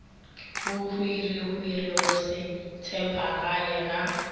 bohwirihwiri go se tshephagale ga